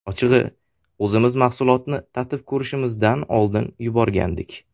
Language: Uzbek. Ochig‘i, o‘zimiz mahsulotni tatib ko‘rishimizdan oldin yuborgandik.